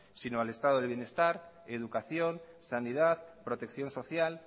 sino al estado del bienestar educación sanidad protección social